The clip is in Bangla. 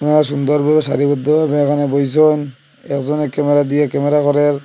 আর সুন্দর ভাবে সারিবদ্ধভাবে এখানে বইসন একজনের ক্যামেরা দিয়ে ক্যামেরা করের।